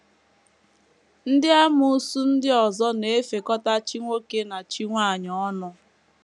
Ndị amoosu ndị ọzọ na - efekọta chi nwoke na chi nwanyị ọnụ.